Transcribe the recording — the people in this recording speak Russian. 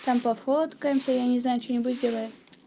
там пофоткаемся я не знаю что-нибудь сделаем